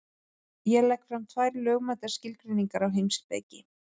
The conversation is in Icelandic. Ég legg fram tvær lögmætar skilgreiningar á heimspeki.